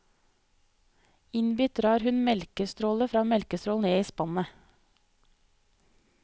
Innbitt drar hun melkestråle for melkestråle ned i spannet.